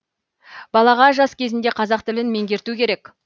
балаға жас кезінде қазақ тілін меңгерту керек